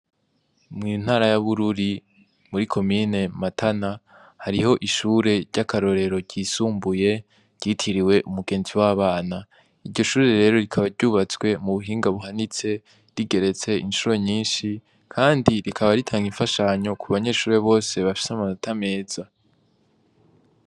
Mu ntara ya Bururi, muri komine Matana, hariho ishure ry'akarorero ryisumbuye ryitiriwe"Umugenzi w'abana".Iryo shure rero, rikaba ryubatswe mubuhinga buhanitse, rigeretse incuro nyinshi kandi rikaba, ritanga imfashanyo ku banyeshure bose bafise amanota meza.